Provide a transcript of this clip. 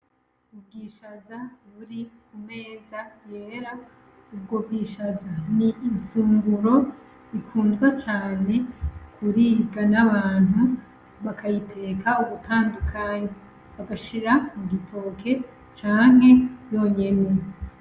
Ubwishaza buri ku meza yera, ubwo bwishaza ni infunguro ikunzwe cane kuribwa n’abantu, bakayiteka ubutandukanye bagashira mugitoke canke yonyene.